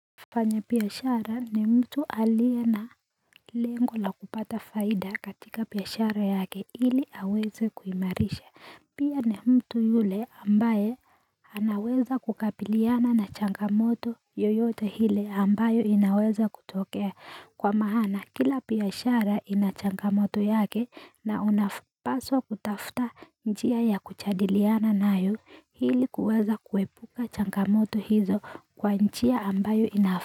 Mfanya biashara ni mtu alie na lengo la kupata faida katika biashara yake ili aweze kuimarisha pia ni mtu yule ambaye anaweza kukabiliana na changamoto yoyote hile ambayo inaweza kutokea kwa mahana kila biashara ina changamoto yake na unapaswa kutafuta njia ya kujadiliana nayo hili kuweza kuepuka changamoto hizo kwa njia ambayo ina.